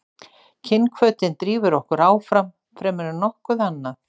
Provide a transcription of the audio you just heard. kynhvötin drífur okkur áfram fremur en nokkuð annað